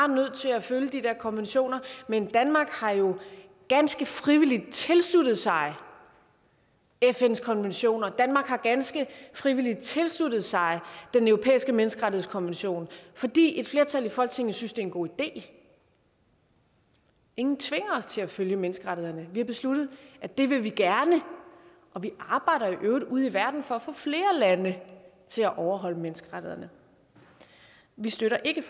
nødt til at følge de der konventioner men danmark har jo ganske frivilligt tilsluttet sig fns konventioner og danmark har ganske frivilligt tilsluttet sig den europæiske menneskerettighedskonvention fordi et flertal i folketinget synes det er en god idé ingen tvinger os til at følge menneskerettighederne vi har besluttet at det vil vi gerne og vi arbejder i øvrigt ude i verden for at få flere lande til at overholde menneskerettighederne vi støtter ikke